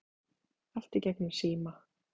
Allt í gegnum síma.